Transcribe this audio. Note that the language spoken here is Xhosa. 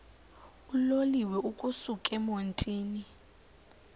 uloliwe ukusuk emontini